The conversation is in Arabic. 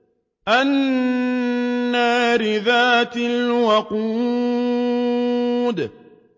النَّارِ ذَاتِ الْوَقُودِ